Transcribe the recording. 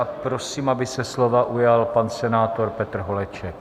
A prosím, aby se slova ujal pan senátor Petr Holeček.